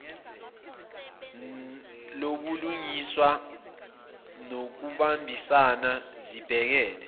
lobulungiswa nokubambisana zibhekele